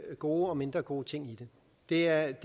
gode og mindre gode ting i det det er